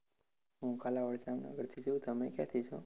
હું કાલાવડ જામનગરથી છુ તમે ક્યાંથી છો?